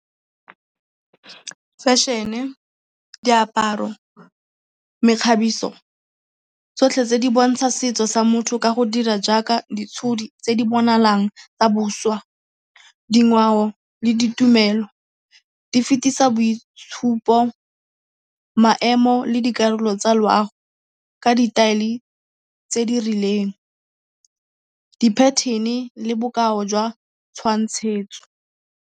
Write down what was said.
Fashion-e, diaparo, mekgabiso, tsotlhe tse di bontsha setso sa motho ka go dira jaaka ditshodi tse di bonalang tsa boswa. Dingwao le ditumelo di fetisa boitshupoemo le dikarolo tsa loago ka ditaele tse di rileng, di pattern-e le bokao jwa tshwantshetso.